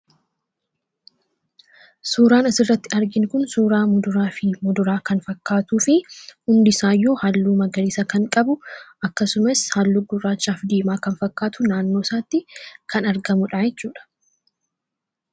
Suuraan asirratti arginu kun suuraa muduraa fi kuduraa kan fakkaatuu fi hundisaayyuu halluu magariisa kan qabu akkasumas halluu gurraachaaf diimaa kan fakkaatu naannoo isaatti kan argamudha jechuudha.